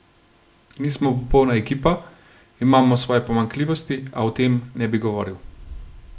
Nismo popolna ekipa, imamo svoje pomanjkljivosti, a o tem ne bi govoril.